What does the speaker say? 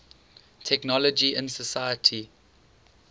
technology in society